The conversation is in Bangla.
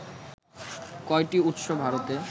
কয়টি উৎস ভারতে